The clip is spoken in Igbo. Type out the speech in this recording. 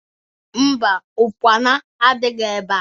Mba, Ụkpana adịghị ebea